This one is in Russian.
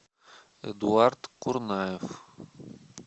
эдуард курнаев